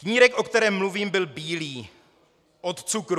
Knírek, o kterém mluvím, byl bílý od cukru.